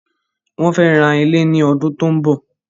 Wọ́n fẹ́ ra ilẹ̀ ní ọdún tí ó ń bọ̀.